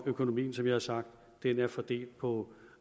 økonomien som jeg har sagt er fordelt på